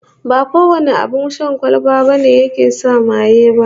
Ba kowane abin sha na kwalba ne yake sa maye ba